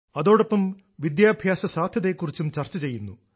അതോടൊപ്പം വിദ്യാഭ്യാസ സാധ്യതയെക്കുറിച്ചും ചർച്ച ചെയ്യുന്നു